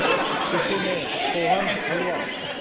किसी ने सोहन हलवा